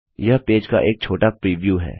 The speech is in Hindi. यह पेज का एक छोटा प्रीव्यू है